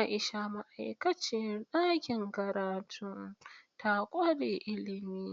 Aisha, ma’aikaciyar dakin karatu, ta kware ilimi,